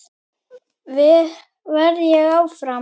Verð ég áfram?